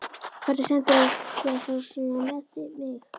Hvernig stendur á þér að fara svona með mig, Friðrik?